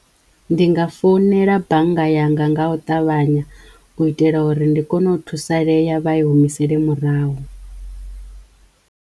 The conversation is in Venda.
Ndi nga fonela bannga yanga nga u ṱavhanya u itela uri ndi kono u thusalea vha i humisele murahu.